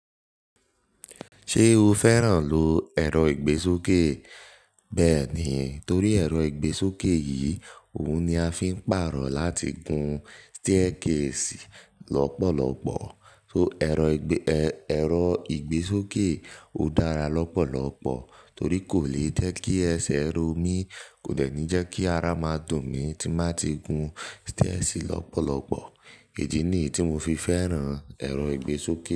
Ṣé o fẹ́ràn lo ẹ̀rọ ìgbésókè? Bẹ́ẹ̀ni, torí ẹ̀rọ ìgbésókè yìí òun ni a fi ń pàrọ̀ láti gun stẹ́ẹ̀kèsì lọ́pọ̀lọpọ̀. So ẹ̀rọ ìgbẹ, ẹ, ẹ̀rọ ìgbésókè ò dára lọ́pọ̀lọpọ̀ torí kò ní jẹ́ kí ẹsẹ̀ ro mí, kò lè ní jẹ́ kí ara máa dùn mí tí má ti gun stẹ́ẹ̀sì lọ́pọ̀lọpọ̀. Ìyí nì tí mo fi fẹ́ràn ẹ̀rọ ìgbésókè.